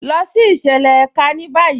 Lọ sí ìṣẹ̀lẹ̀ èká ní báyì.